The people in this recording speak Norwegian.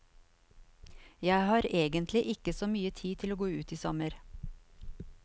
Jeg har egentlig ikke så mye tid til å gå ut i sommer.